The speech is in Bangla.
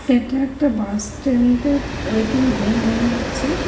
এটা একটা বাস স্ট্যান্ডের ওয়েটিং রুম মনে হচ্ছে।